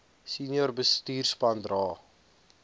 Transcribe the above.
senior bestuurspan dra